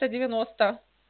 сто девяносто